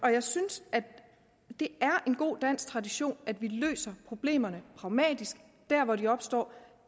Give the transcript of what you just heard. jeg synes det er en god dansk tradition at vi løser problemerne pragmatisk der hvor de opstår